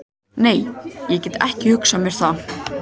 Nei, ég gæti ekki hugsað mér það.